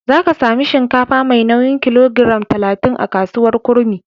Za ka sami shinkafa mai nauyin kilogiram talatin a kasuwar Kurmi.